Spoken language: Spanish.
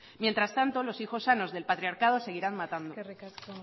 mientras tanto los hijos sanos del patriarcado seguirán matando eskerrik asko